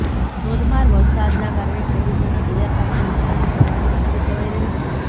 ધોધમાર વરસાદના કારણે ખેડૂતોના તૈયાર પાકને નુકાસાની જવાની ભીંતી સેવાઈ રહી છે